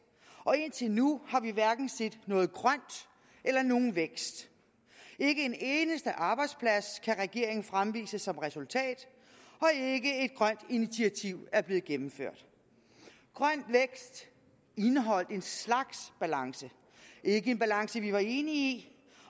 og indtil nu har vi hverken set noget grønt eller nogen vækst ikke en eneste arbejdsplads kan regeringen fremvise som resultat og initiativ er blevet gennemført grøn vækst indeholdt en slags balance ikke en balance vi var enige i